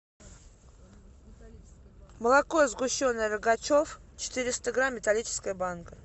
молоко сгущенное рогачев четыреста грамм металлическая банка